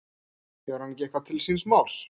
Hefur hann ekki eitthvað til síns máls?